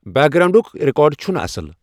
Back گراونڈُک record چُھنہٕ اصل ۔